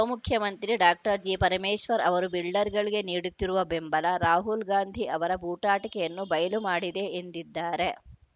ಉಪಮುಖ್ಯಮಂತ್ರಿ ಡಾಕ್ಟರ್ ಜಿಪರಮೇಶ್ವರ್‌ ಅವರು ಬಿಲ್ಡರ್‌ಗಳಿಗೆ ನೀಡುತ್ತಿರುವ ಬೆಂಬಲ ರಾಹುಲ್‌ ಗಾಂಧಿ ಅವರ ಬೂಟಾಟಿಕೆಯನ್ನು ಬಯಲು ಮಾಡಿದೆ ಎಂದಿದ್ದಾರೆ